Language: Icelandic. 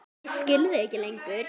Ég skil þig ekki lengur.